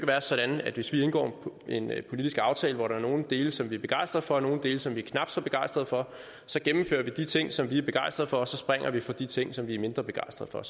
være sådan hvis vi indgår en en politisk aftale hvor der er nogle dele som vi er begejstret for og nogle dele som vi er knap så begejstret for at så gennemfører vi de ting som vi er begejstret for og springer fra de ting som vi er mindre begejstret for